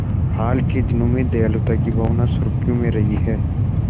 हाल के दिनों में दयालुता की भावना सुर्खियों में रही है